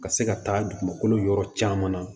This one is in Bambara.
Ka se ka taa dugukolo yɔrɔ caman na